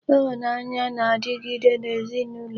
Ịhụnanya na-adịgide n'ezinụlọ